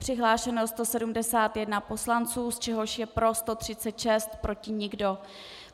Přihlášeno 171 poslanců, z čehož je pro 136, proti nikdo.